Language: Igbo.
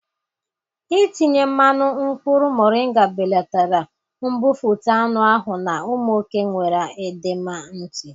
Itinye mmanụ mkpụrụ mọrịnga belatara mbufụt anụ ahụ na ụmụ oke nwere edema ntị.